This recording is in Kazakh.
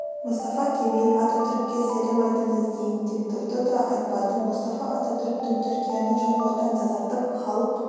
мұстафа кемел ататүрікке сәлем айтыңыз дейін деп тұрды да айтпады мұстафа ататүріктің түркияны жаулардан тазартып халық